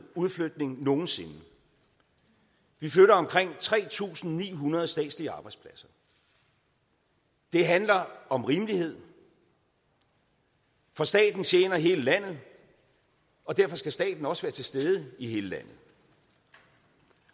udflytning nogen sinde vi flytter omkring tre tusind ni hundrede statslige arbejdspladser det handler om rimelighed for staten tjener hele landet og derfor skal staten også være til stede i hele landet